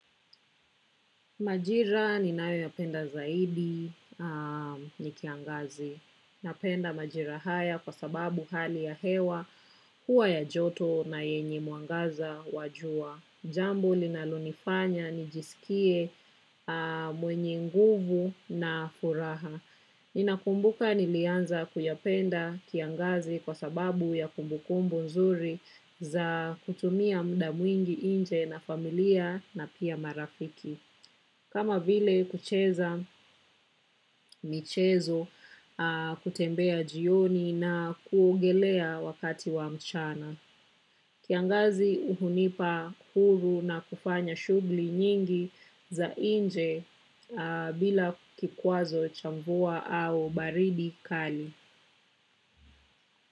Majira ni nayo ya penda zaidi ni kiangazi. Napenda majira haya kwa sababu hali ya hewa huwa ya joto na yenye mwangaza wa jua. Jambo linalonifanya nijisikie mwenye nguvu na furaha. Ninakumbuka nilianza kuyapenda kiangazi kwa sababu ya kumbukumbu nzuri za kutumia muda mwingi nje na familia na pia marafiki. Kama vile kucheza michezo kutembea jioni na kuogelea wakati wa mchana. Kiangazi hunipa huru na kufanya shugli nyingi za nje bila kikwazo cha mvua au baridi kali.